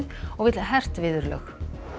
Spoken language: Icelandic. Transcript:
og vill hert viðurlög